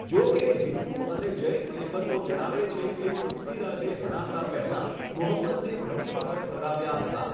જો કે, હિંદુ અને જૈન લેખકો જણાવે છે કે પૃથ્વીરાજે હણાતા પહેલાં મુહમ્મદને ઘણી વખત હરાવ્યા હતા.